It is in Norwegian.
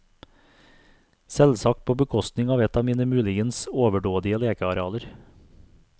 Selvsagt på bekostning av et av mine muligens overdådige lekearealer.